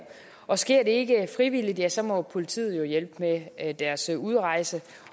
og sker det ikke frivilligt ja så må politiet jo hjælpe med deres udrejse